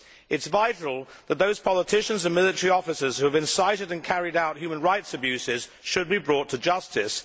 It is vital that those politicians and military officers who have been cited and carried out human rights abuses should be brought to justice.